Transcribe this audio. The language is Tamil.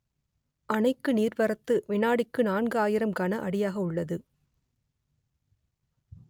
அணைக்கு நீர்வரத்து விநாடிக்கு நான்கு ஆயிரம் கன அடியாக உள்ளது